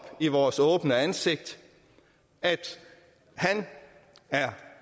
i vores åbne ansigt at han er